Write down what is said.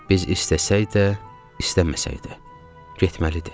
Biz istəsək də, istəməsək də getməlidir.